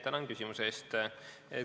Tänan küsimuse eest!